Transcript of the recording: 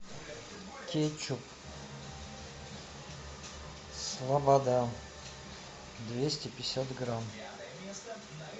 кетчуп слобода двести пятьдесят грамм